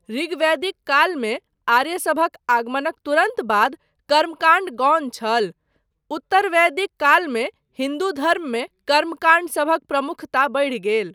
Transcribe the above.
ऋग्वैदिक कालमे आर्यसभक आगमनक तुरन्त बाद कर्मकाण्ड गौण छल, उत्तरवैदिक कालमे हिन्दू धर्ममे कर्मकाण्डसभक प्रमुखता बढ़ि गेल।